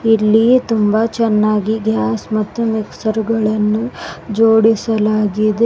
ಇಲ್ಲಿ ತುಂಬ ಚೆನ್ನಾಗಿ ಗ್ಲಾಸ್ ಮತ್ತು ಮಿಕ್ಸರ್ ಗಳನ್ನು ಜೋಡಿಸಲಾಗಿದೆ.